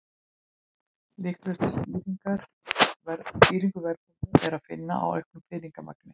Líklegustu skýringu verðbólgu er að finna í auknu peningamagni.